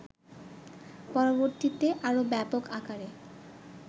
পরবর্তীতে আরও ব্যাপক আকারে